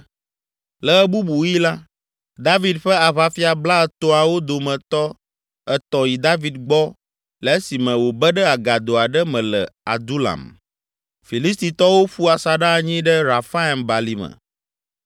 Le ɣe bubu ɣi la, David ƒe aʋafia blaetɔ̃awo dometɔ etɔ̃ yi David gbɔ le esime wòbe ɖe agado aɖe me le Adulam. Filistitɔwo ƒu asaɖa anyi ɖe Refaim balime.